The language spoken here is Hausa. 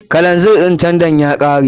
Keron tandan ya kare.